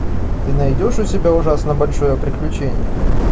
ты найдешь у себя ужасно большое приключение